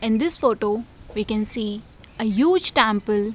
in this photo we can see a huge temple --